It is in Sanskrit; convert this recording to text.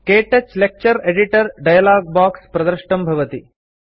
क्तौच लेक्चर एडिटर डायलॉग बाक्स प्रदृष्टं भवति